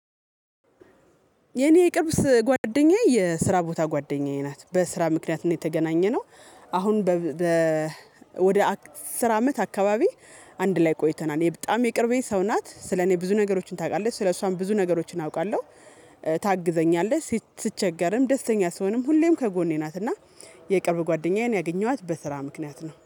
የኔ የቅርብስ ጓደኛዬ የስራ ቦታ ጓደኛዬ ናት በስራ ምክንያት ነው የተገናኘነው። አሁን ወደ አስር አመት አካባቢ አንድ ላይ ቆይተናል። በጣም የቅርቤ ሰው ናት ስለ እኔ ብዙ ነገሮችን ታውቃለህ ስለሷም ብዙ ነገሮችን አውቃለሁ። ታግዘኛለህ ስቸገርም ደስተኛ ስሆንም ሁሌም ከጎኔ ናት። እና የቅርብ ጓደኛዬን ያገኘኋት በስራ ምክንያት ነው